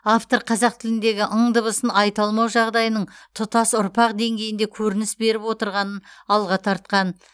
автор қазақ тіліндегі ң дыбысын айта алмау жағдайының тұтас ұрпақ деңгейінде көрініс беріп отырғанын алға тартқан